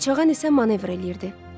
Qaçağan isə manevr eləyirdi.